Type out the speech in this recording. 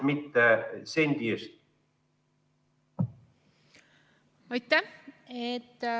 Aitäh!